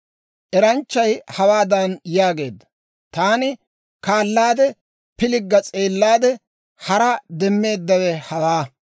Eranchchay hawaadan yaageedda; «Taani kaala kaalaade, pilgga s'eellaade, haraa demmeeddawe hawaa.